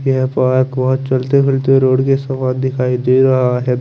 ये पार्क बहोत चलते फिरते रोड कि सुबह दिखाई दे रहा है।